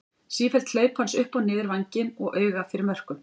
Sífelld hlaup hans upp og niður vænginn og auga fyrir mörkum.